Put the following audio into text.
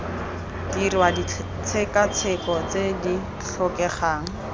dirwa ditshekatsheko tse di tlhokegang